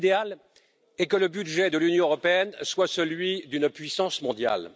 Mon idéal est que le budget de l'Union européenne soit celui d'une puissance mondiale.